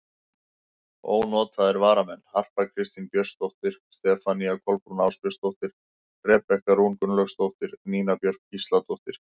Ónotaðir varamenn: Harpa Kristín Björnsdóttir, Stefanía Kolbrún Ásbjörnsdóttir, Rebekka Rún Gunnlaugsdóttir, Nína Björk Gísladóttir.